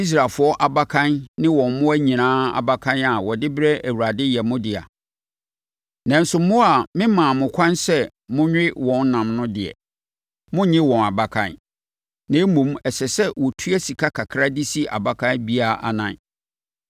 Israelfoɔ abakan ne wɔn mmoa nyinaa abakan a wɔde brɛ Awurade yɛ mo dea. Nanso mmoa a memmaa mo ɛkwan sɛ wɔnwe wɔn nam no deɛ, monnnye wɔn abakan. Na mmom, ɛsɛ sɛ wɔtua sika kakra de si abakan biara anan.